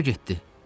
O hara getdi?